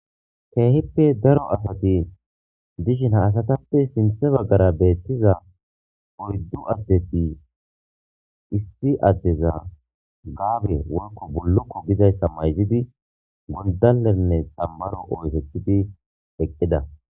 keehippe daro asati dishin haasatappe sinthe baggara beettiza oyddu addeti issi addeza gaabe woyko bullokko gizayssa mayzidi gondalenne xambbaro oykidi eqqida